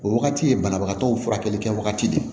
O wagati ye banabagatɔw furakɛlikɛ wagati de ye